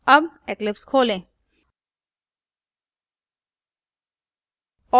अब eclipse खोलें